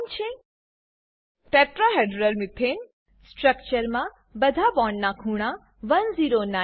tetrahedral methane tetrahedral methane સ્ટ્રક્ચરમાં બધા બોન્ડના ખૂણા 1095 ડિગ્રી